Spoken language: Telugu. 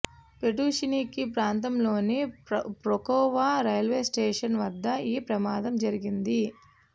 పెటుషిన్స్కీ ప్రాంతంలోని పొక్రోవా రైల్వే స్టేషన్ వద్ద ఈ ప్రమాదం జరిగింది